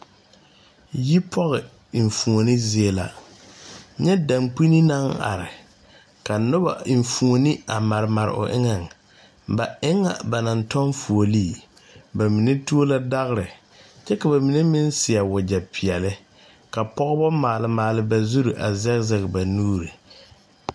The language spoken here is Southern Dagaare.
Yipoge enfuone zie la nyɛ dankpine naŋ are ka nobɔ enfuone a mare mare o eŋɛŋ ba e ŋa ba naŋ tɔŋ fuolee ba mine tuo la dagre kyɛ ka ba mine meŋ seɛ wagyɛ peɛɛli ka pɔgebɔ maale maale ba zurre a zege zege ba nuure.